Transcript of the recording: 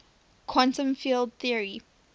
quantum field theory